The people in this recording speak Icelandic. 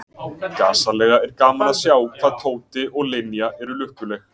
Gasalega er gaman að sjá hvað Tóti og Linja eru lukkuleg.